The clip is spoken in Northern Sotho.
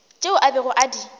tšeo a bego a di